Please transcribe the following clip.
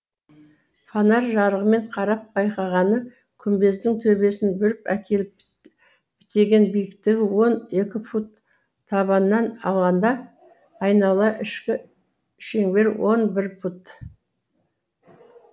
фонарь жарығымен қарап байқағаны күмбездің төбесін бүріп әкеліп бітеген биіктігі он екі фут табанынан алғанда айнала ішкі шеңбері он бір фут